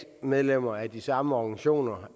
er medlemmer af de samme organisationer